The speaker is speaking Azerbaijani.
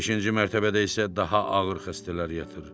Beşinci mərtəbədə isə daha ağır xəstələr yatır.